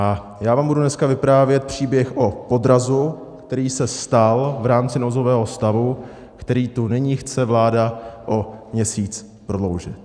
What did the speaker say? A já vám budu dneska vyprávět příběh o podrazu, který se stal v rámci nouzového stavu, který tu nyní chce vláda o měsíc prodloužit.